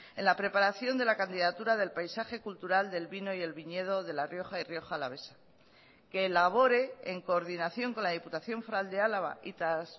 en la preparación de la candidatura del paisaje cultural del vino y el viñedo de la rioja y rioja alavesa que elabore en coordinación con la diputación foral de álava y tras